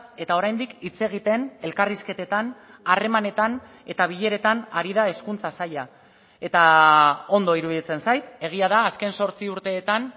eta oraindik hitz egiten elkarrizketetan harremanetan eta bileretan ari da hezkuntza saila eta ondo iruditzen zait egia da azken zortzi urteetan